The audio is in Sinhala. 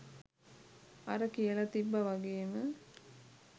අර කියල තිබ්බ වගේම